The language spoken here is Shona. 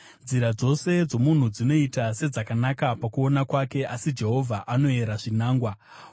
Nzira dzose dzomunhu dzinoita sedzakanaka pakuona kwake, asi Jehovha anoyera zvinangwa.